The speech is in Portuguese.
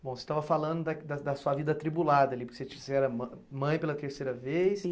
Bom, você estava falando da da da sua vida atribulada ali, porque você era mã mãe pela terceira vez.